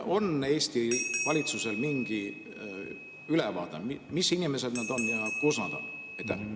On Eesti valitsusel mingi ülevaade, mis inimesed nad on ja kus nad on?